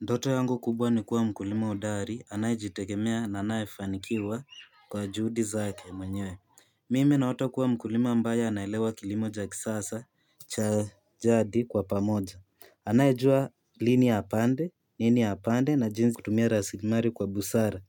Ndoto yangu kubwa ni kuwa mkulima hodari anayejitegemea na anayefanikiwa kwa juhudi zake mwenyewe mimi naota kuwa mkulima ambaye anaelewa kilimo cha kisasa, cha jadi kwa pamoja anayejua lini apande, nini apande na jinsi kutumia rasilimali kwa busara